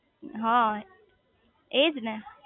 હ એજ ને